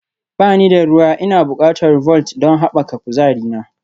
Ba ni da ruwa Ina buƙatar Vault don haɓaka kuzarina